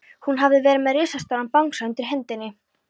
Hún hafði verið með risastóran bangsa undir hendinni.